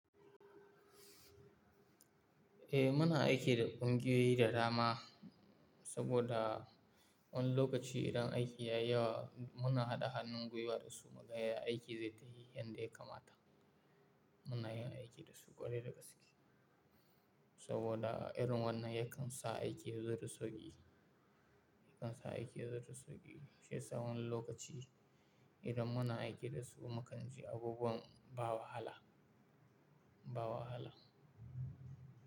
Eh muna aiki da kungiyoyi da dama, saboda wani lokaci idan aiki ya yi yawa muna haɗa hannun gwiwa da su mu gaya aiki zai tayi yan da ya kamata. Muna yin aiki da su ƙwarai da gaske saboda irin wannan yakan sa aiki ya zari sauƙi, yakan sa aiki ya zari sauƙi. Sai sa wani lokaci idan muna aiki da su makani, abubuwan ba wahala, ba wahala.